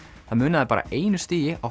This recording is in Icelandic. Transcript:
það munaði bara einu stigi á